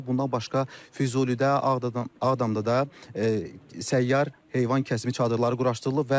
Bundan başqa Füzulidə, Ağdadə, Ağdamda da səyyar heyvan kəsimi çadırları quraşdırılıb.